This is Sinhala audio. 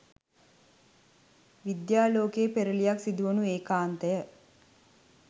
විද්‍යා ලෝකයේ පෙරළියක් සිදුවනු ඒකාන්තය